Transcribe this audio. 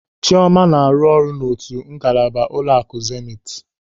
Chịọma na-arụ ọrụ n'otu ngalaba ụlọaku Zenit.